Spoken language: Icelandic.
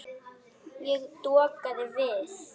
Ég dokaði við.